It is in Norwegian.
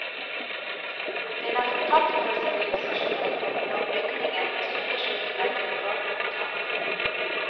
Den er fortapt for sivilisasjonen, blant bygninger med sønderskutte vegger og gapende tak.